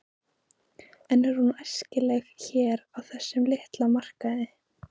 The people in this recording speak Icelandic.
En er hún æskileg hér á þessum litla markaði?